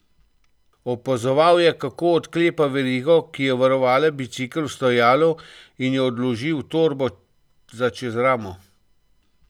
Opazoval je, kako odklepa verigo, ki je varovala bicikel v stojalu, in jo odloži v torbo za čez ramo.